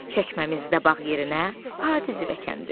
Çəkməmizdə bağ yerinə adi zəvəkəndiri.